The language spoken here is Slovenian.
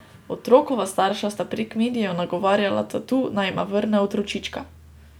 Otrokova starša sta prek medijev nagovarjala tatu, naj jima vrne otročička.